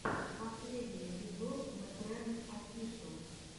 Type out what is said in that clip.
последний эпизод мэтрэнг офишэл